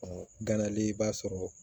ganalen i b'a sɔrɔ